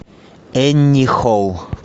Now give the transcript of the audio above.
энни холл